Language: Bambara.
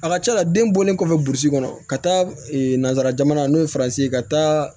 A ka ca la den bɔlen kɔfɛ burusi kɔnɔ ka taa nanzara jamana n'o ye faransi ye ka taa